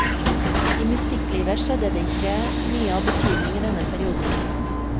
I musikklivet skjedde det ikke mye av betydning i denne perioden.